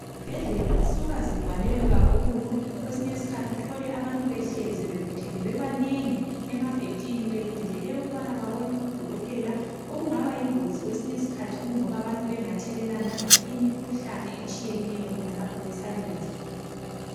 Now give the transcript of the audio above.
Izibhedlela zisuka zigcwalelwe kakhulu! Kwesinye isikhathi uthole abantu behlezi bebuthene bebanengi, emabhentshini. Belindile ukubana babone odokotela. Okungaba yingozi kwesinye isikhathi, kungoba abantu bengathelelana imikhuhlane etshiyeneyo. Khonalapho besalindlile.